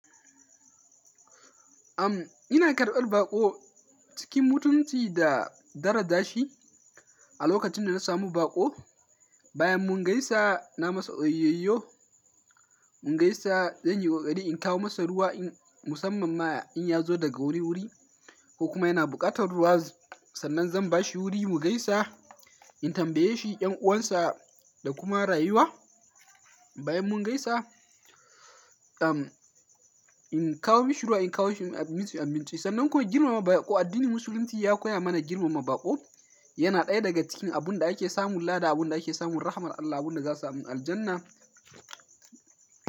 Ina karɓar baƙo cikin mutunci da daraja shi a lokacin da na samu baƙo. Bayan mun gaisa, na masa oyoyo, mun gaisa, zan yi ƙoƙari in kawo masa ruwa musamman ma in ya zo daga wuri-wuri ko kuma yana buƙatar ruwa, sannan zan bashi wuri mu gaisa, in tambaye shi ƴan'uwansa da kuma rayuwa. Bayan mun gaisa, in kawo mishi ruwa, in kawo mishi abinci, sannan kuma girmama baƙo addinin musulunci ya koya mana girmama baƙo. Yana ɗaya daga cikin abun da ake samun lada da abunda ake samun rahamar Allah, abun da za a samu aljannah.